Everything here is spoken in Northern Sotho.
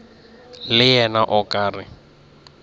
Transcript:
le yena o ka re